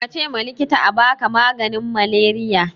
kace ma likitan abaka maganin maleriya